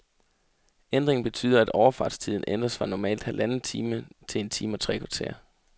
Ændringen betyder, at overfartstiden ændres fra normalt halvanden time til en time og tre kvarter.